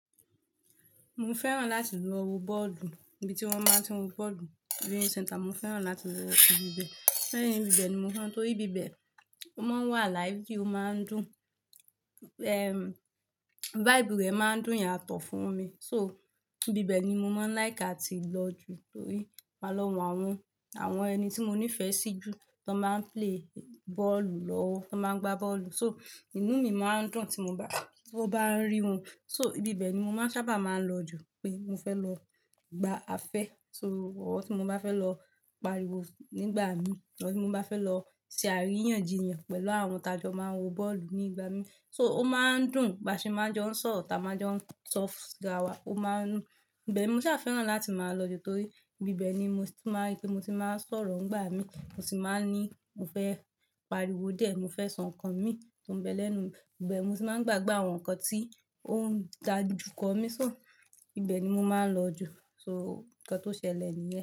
Mo fẹ́ràn láti lọ wo bọ́ọ̀lù, ibi tí wọ́n máa tí ń wo bọ́ọ̀lù, viewing centre. Mo fẹ́ràn láti lọ ibi bẹ́ẹ̀. Lẹ́yìn ibi bẹ́ẹ̀ ni mo maa n, torí ibi bẹ́ẹ̀ ó máa ń wà lively, ó máa ń dùn. Vibe rẹ̀ máa ń dùn yàtọ̀ fún mi. So ibi bẹ́ẹ̀ ni mo máa ń like áti lọ ju, torí màá n lọ wo àwọn, àwọn ẹni tí mo nífẹ̀ẹ́ sí jù tan báa ń play bọ́ọ̀lù lọ́wọ́, tan báa ń gba bọ́ọ̀lù. So inú mi máa ń dùn tí mo bá, tí mo bá ń rí wọn. So ibi bẹ́ẹ̀ ni mo máa ń sábà máa ń lọ jù pé mo fẹ́ lọ gba afẹ́. So or tí mo bá fẹ́ lọ pariwo nígbà mi, or tí mo bá fẹ́ lọ ṣe àríyànjiyàn pẹ̀lú àwọn t'a jọ máa ń wo bọ́ọ̀lù nígbà mi. So ó máa ń dùn ba ṣe máa ń jọ ń sọ̀rọ̀, ta máa jọ ń sọ́fù sí ara wa, ó máa ń. Ibẹ̀ ni mo sá fẹ́ràn láti máa lọ jù torí ibi bẹ́ẹ̀ ni mo ti máa ń, ripe tí mo ti máa ń sọ̀rọ̀ ń gbà mí, mo sì máa ń ní mo fẹ́ pariwo dié, mo fẹ́ sọ nǹkan mi tó ń bẹ lẹ́nu. Ibẹ̀ mo tì máa ń gbàgbe àwọn nǹkan tí ó ń dajù kọ́ mi. So ibi bẹ́ẹ̀ ni mo máa ń lọ jù. So nǹkan tó ṣẹlẹ̀ nìyẹn.